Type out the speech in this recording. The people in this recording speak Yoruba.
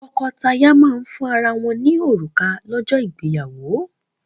Tọ́kọtaya máa ń fún ara wọ́n ní òrùka lọ́jọ́ ìgbéyàwó.